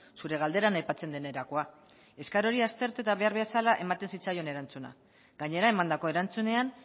zure galderan aipatzen den erakoa eskaera hori aztertu eta behar bezala ematen zitzaion erantzuna gainera emandako erantzunean